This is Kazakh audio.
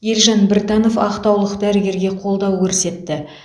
елжан біртанов ақтаулық дәрігерге қолдау көрсетті